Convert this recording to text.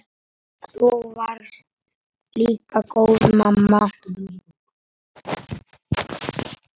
Þú varst líka góð mamma.